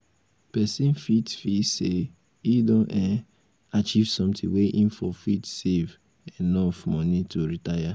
person fit feel sey im don um achieve something when im fon fit save enough money to um retire